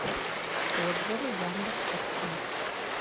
отзывы яндекстакси